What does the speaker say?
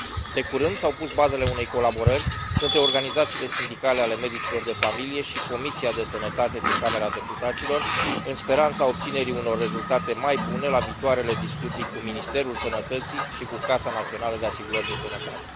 De curând s au pus bazele unei colaborări între organizațiile sindicale ale medicilor de familie și Comisia pentru sănătate din Camera Deputaților, în speranța obținerii unor rezultate mai bune la viitoarele discuții cu Ministerul Sănătății și cu Casa Națională de Asigurări de Sănătate.